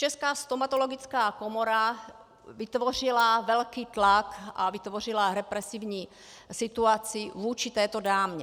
Česká stomatologická komora vytvořila velký tlak a vytvořila represivní situaci vůči této dámě.